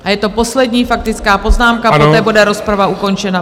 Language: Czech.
A je to poslední faktická poznámka, poté bude rozprava ukončena.